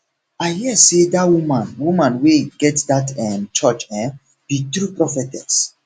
i hear say dat woman woman wey get dat um church um be true prophetess